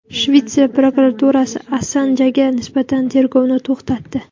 Shvetsiya prokuraturasi Assanjga nisbatan tergovni to‘xtatdi.